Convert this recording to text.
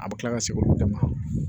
A bɛ kila ka segin olu bɛɛ ma